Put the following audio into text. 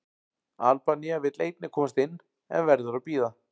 Albanía vill einnig komast inn, en verður að bíða.